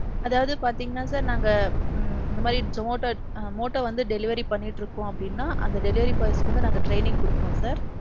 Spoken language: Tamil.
அதாவது பாத்தீங்கன்னா sir நாங்க ம் இந்தமாதிரி Motto Motto வந்து delivery பண்ணிட்டு இருக்கோம் அப்பிடின்னா அந்த delivery boys க்கு வந்து நாங்க training குடுப்போம் sir.